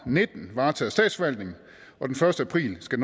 og nitten varetaget af statsforvaltningen og den første april skal